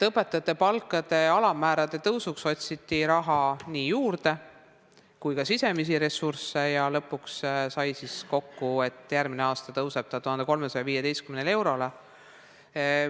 Õpetajate palga alammäära tõstmiseks otsiti raha juurde ja otsiti ka sisemisi ressursse ja lõpuks lepiti kokku nii, et järgmisel aastal tõuseb palk 1315 euroni.